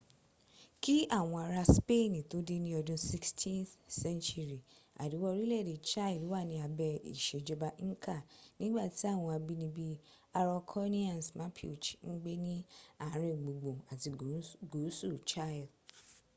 ki awon ara spain to de ni odun 16th century ariwa orile ede chile wa ni abe isejoba inca nigbati awon abinibi araucanians mapuche n gbe ni aringbungbun ati guusu chile